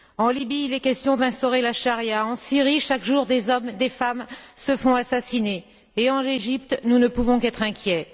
En Libye, il est question d'instaurer la charia, en Syrie, chaque jour des hommes et des femmes se font assassiner, et en Égypte, nous ne pouvons qu'être inquiets.